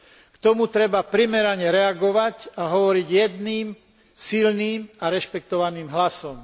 K tomu treba primerane reagovať a hovoriť jedným silným a rešpektovaným hlasom.